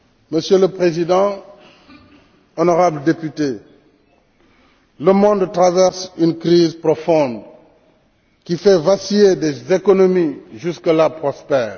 Monsieur le Président, honorables députés, le monde traverse une crise profonde qui fait vaciller des économies jusque là prospères.